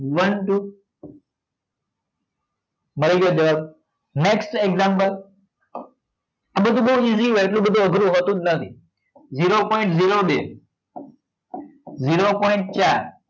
one two મળી ગયો દસ next example આ બધું બહુ easy આ એટલો બધો અઘરું હોતું જ નથી zero point zero બે zero point ચાર